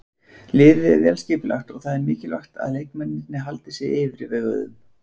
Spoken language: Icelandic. Liðið er vel skipulagt og það er mikilvægt að leikmennirnir haldi sér yfirveguðum.